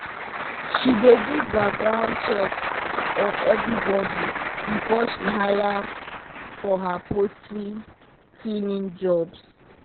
she dey do background checks on everybody before she hire for her poultry cleaning jobs.